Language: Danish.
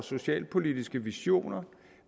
socialpolitiske visioner